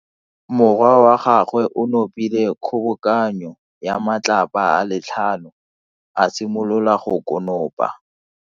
Morwa wa gagwe o nopile kgobokano ya matlapa a le tlhano, a simolola go konopa.